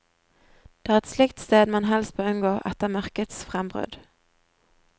Det er et slikt sted man helst bør unngå etter mørkets frembrudd.